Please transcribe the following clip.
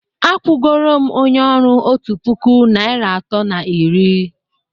akwụgoro m onye ọrụ otu puku naịra atọ na iri